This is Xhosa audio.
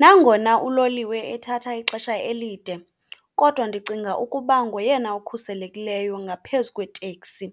Nangona uloliwe ethatha ixesha elide kodwa ndicinga ukuba ngoyena ukhuselekileyo ngaphezu kweteksi,